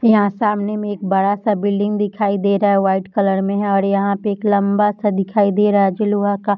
यहाँ सामने में एक बड़ा-सा बिल्डिंग दिखाई दे रहा है कलर में है और यहाँ पे एक लम्बा-सा दिखाई दे रहा हैं जो लोहा का --